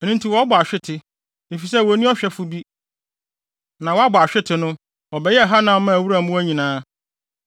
Ɛno nti wɔbɔ ahwete, efisɛ wonni ɔhwɛfo bi, na wɔbɔ ahwete no, wɔbɛyɛɛ hanam maa wuram mmoa nyinaa.